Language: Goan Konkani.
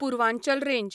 पुर्वांचल रेंज